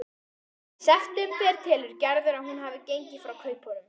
Í september telur Gerður að hún hafi gengið frá kaupunum.